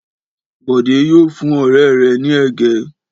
Bọ̀dé yóò fún ọ̀rẹ́ rẹ̀ ní ẹ̀gẹ́.